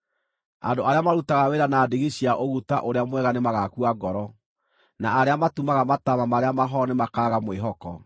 Andũ arĩa marutaga wĩra na ndigi cia ũguta ũrĩa mwega nĩmagakua ngoro, na arĩa matumaga mataama marĩa mahoro nĩmakaaga mwĩhoko.